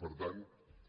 per tant